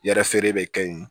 Yɛrɛ feere bɛ kɛ yen